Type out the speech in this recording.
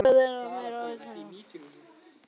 Milla var jafnvel enn meira undrandi.